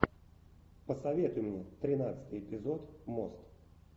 посоветуй мне тринадцатый эпизод мост